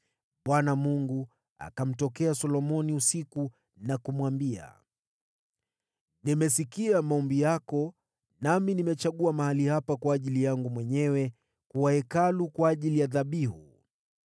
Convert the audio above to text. Bwana akamtokea Solomoni usiku na kumwambia: “Nimesikia maombi yako nami nimechagua mahali hapa kwa ajili yangu mwenyewe kuwa Hekalu kwa ajili ya dhabihu.